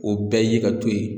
O bɛɛ ye ka to yen